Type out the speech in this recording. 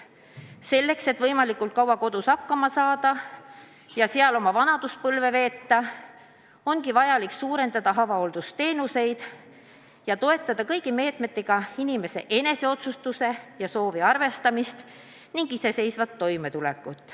Selleks, et võimalikult kaua kodus hakkama saada ja seal oma vanaduspõlve veeta, ongi vaja suurendada avahooldusteenuseid ja toetada kõigi meetmetega inimese enese soovide arvestamist ning iseseisvat toimetulekut.